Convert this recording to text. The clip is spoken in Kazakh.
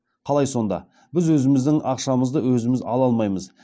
қалай сонда біз өзіміздің ақшамызды өзіміз ала алмаймыз